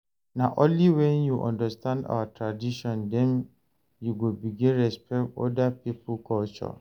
Na only wen you understand our tradition dem you go begin respect oda pipo culture.